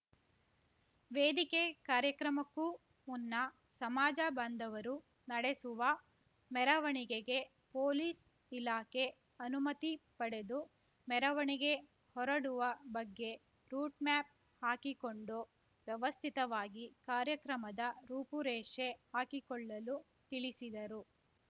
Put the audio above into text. ವೇದಿಕೆ ಕಾರ್ಯಕ್ರಮಕ್ಕೂ ಮುನ್ನ ಸಮಾಜ ಬಾಂಧವರು ನಡೆಸುವ ಮೆರವಣಿಗೆಗೆ ಪೊಲೀಸ್‌ ಇಲಾಖೆ ಅನುಮತಿ ಪಡೆದು ಮೆರವಣಿಗೆ ಹೊರಡುವ ಬಗ್ಗೆ ರೂಟ್‌ ಮ್ಯಾಪ್‌ ಹಾಕಿಕೊಂಡು ವ್ಯವಸ್ಥಿತವಾಗಿ ಕಾರ್ಯಕ್ರಮದ ರೂಪುರೇಷೆ ಹಾಕಿಕೊಳ್ಳಲು ತಿಳಿಸಿದರು